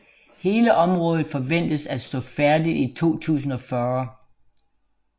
Hele området forventedes at stå færdigt i 2040